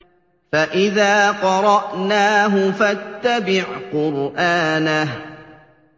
فَإِذَا قَرَأْنَاهُ فَاتَّبِعْ قُرْآنَهُ